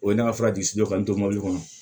O ye ne ka mɔbili kɔnɔ